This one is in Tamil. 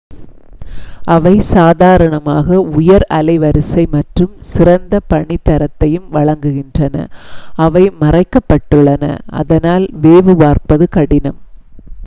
அவை சாதாரணமாக உயர் அலைவரிசை மற்றும் சிறந்த பணித்தரத்தையும் வழங்குகின்றன அவை மறைக்கப் பட்டுள்ளன அதனால் வேவு பார்ப்பது கடினம்